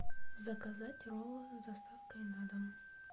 заказать роллы с доставкой на дом